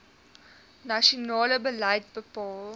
nasionale beleid bepaal